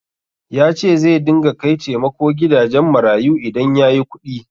Ya ce zai dinga kai taimako gidajen marayu idan ya yi kuɗi.